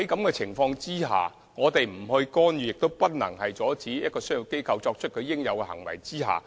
我們不作出干預，亦不能阻止商業機構作出應有的行為。